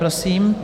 Prosím.